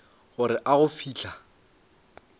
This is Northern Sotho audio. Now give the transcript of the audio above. gore a re go fihla